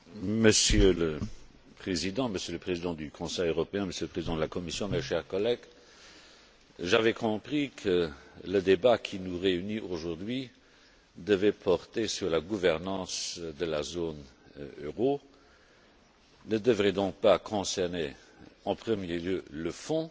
Monsieur le Président, Monsieur le Président du Conseil européen, Monsieur le Président de la Commission, mes chers collègues, j'avais compris que le débat qui nous réunit aujourd'hui devait porter sur la gouvernance de la zone euro, ne devrait donc pas concerner en premier lieu le fond